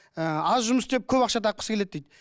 ііі аз жұмыс істеп көп ақша тапқысы келеді дейді